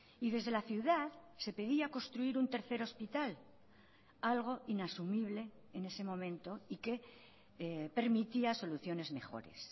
y desde la ciudad se pedía construir un tercer hospital algo inasumible en ese momento y que permitía soluciones mejores